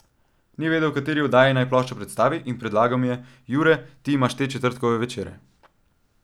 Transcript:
Ni vedel, v kateri oddaji naj ploščo predstavi, in predlagal mi je: 'Jure, ti imaš te četrtkove večere.